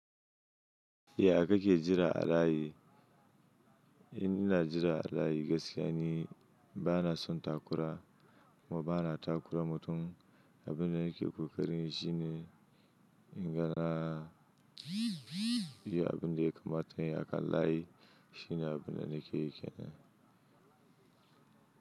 Ya kake jira a layi? In ina jira a layi gaskiya ni bana son takura kuma bana takura mutum. Abin da nake ƙoƙarinyi shi ne in gana biya abin da ya kamata kayi a kan layi. Shi ne abin da nake yi kenan.